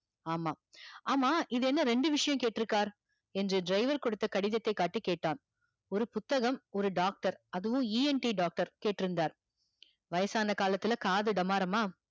ஆமா ஆமா இது என்ன ரெண்டு விஷயம் கேட்டு இருக்கார் என்று driver குடுத்த கடிதத்ததை காட்டி கேட்டான் ஒரு புத்தகம் ஒரு doctor அதுவும் ENT doctor கேட்டுயிருந்தார் வயசான காலத்துல காது டம்மாரம்மா